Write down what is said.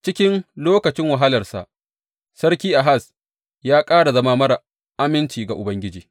Cikin lokacin wahalarsa Sarki Ahaz ya ƙara zama marar aminci ga Ubangiji.